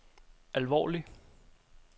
alvorlig